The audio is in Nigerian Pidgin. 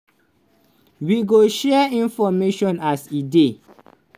we go share information as e dey."